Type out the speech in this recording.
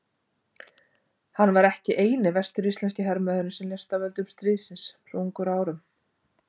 Hann var ekki eini vestur-íslenski hermaðurinn sem lést af völdum stríðsins svo ungur að árum.